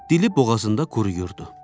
Dili boğazında quruyurdu.